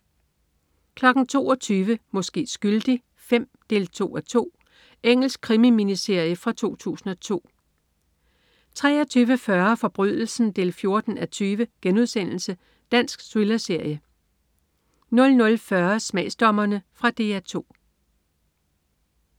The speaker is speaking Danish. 22.00 Måske skyldig V 2:2. Engelsk krimi-miniserie fra 2002 23.40 Forbrydelsen 14:20.* Dansk thrillerserie 00.40 Smagsdommerne. Fra DR 2